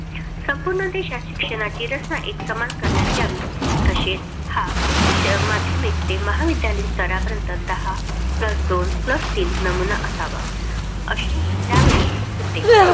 संपूर्ण देशात शिक्षणाची रचना एकसमान करण्यात यावी. तसेच हा उच्च माध्यमिक ते महाविद्यालयीन स्तरापर्यंत दहा plus दोन plus तीन नमुना असावा अशे त्यावेळी होते.